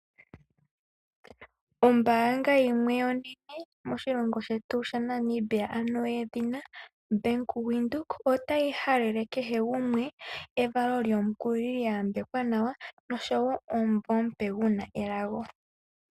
Ombaanga yimwe onene moshilongo shetu sha Namibia ano yedhina Bank Widhoek, otayi halele kehe gumwe evalo lyomukulili lya yambekwa nawa nosho wo omumvo omupe gwa guna elago.